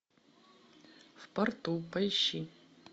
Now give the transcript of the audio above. в порту поищи